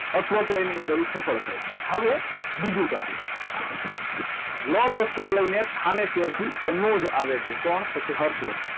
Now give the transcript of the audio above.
અથવા તો એની અંદર એક હવે બીજું કામે લશ્કર લઈને થાનેશ્વર થી કનોજ આવે છે કોણ તો કે હર્ષવર્ધન